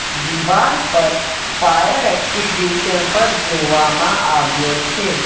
દિવાલ પર ફાયર એક્સિડ્યુશન પર જોવામાં આવ્યો છે.